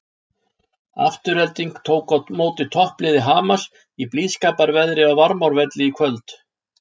Afturelding tók á móti toppliði Hamars í blíðskaparveðri á Varmárvelli í kvöld.